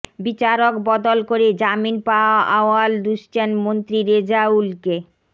বিচারক বদল করে জামিন পাওয়া আউয়াল দুষছেন মন্ত্রী রেজাউলকে